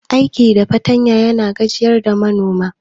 Aiki da fartanya yana gajiyar da manomi.